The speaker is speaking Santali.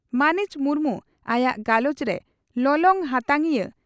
ᱢᱟᱹᱱᱤᱡ ᱢᱩᱨᱢᱩ ᱟᱭᱟᱜ ᱜᱟᱞᱚᱪ ᱨᱮ ᱞᱚᱞᱚ ᱦᱟᱛᱟᱝᱤᱭᱟᱹ